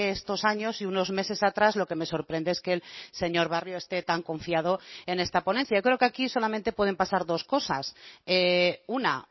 estos años y unos meses atrás lo que me sorprende es que el señor barrio esté tan confiado en esta ponencia creo que aquí solamente pueden pasar dos cosas una